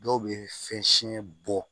Dɔw bɛ fɛn siyɛn bɔ